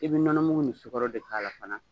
I bi nɔnɔmugu ni sukɔrɔ de k'a la fana